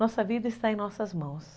Nossa vida está em nossas mãos.